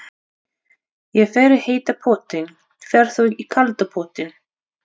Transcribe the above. Ég fer í heita pottinn. Ferð þú í kalda pottinn?